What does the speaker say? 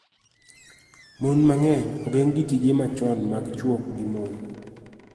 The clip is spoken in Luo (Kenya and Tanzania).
Mond mang�eny ogeng� gi tije machon mag chwo gi mon